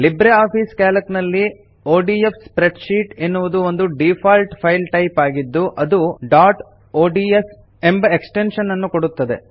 Libre Office Calc ನಲ್ಲಿ ODF spreadsheet ಎನ್ನುವುದು ಒಂದು ಡೀಫಾಲ್ಟ್ ಫೈಲ್ ಟೈಪ್ ಆಗಿದ್ದು ಅದು ಡಾಟ್ ಒಡಿಎಸ್ ಎಂಬ ಎಕ್ಸ್ಟೆನ್ಶನ್ ಅನ್ನು ಕೊಡುತ್ತದೆ